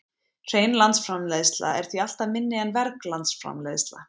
Hrein landsframleiðsla er því alltaf minni en verg landsframleiðsla.